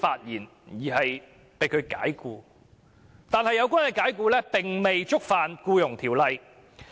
然而，這些解僱並未觸犯《僱傭條例》。